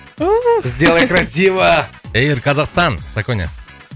сделай красиво эйр казахстан саконя